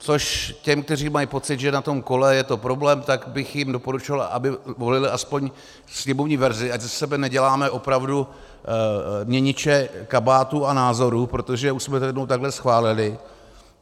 Což těm, kteří mají pocit, že na tom kole je to problém, tak bych jim doporučil, aby volili aspoň sněmovní verzi, ať ze sebe neděláme opravdu měniče kabátů a názorů, protože už jsme to jednou takhle schválili.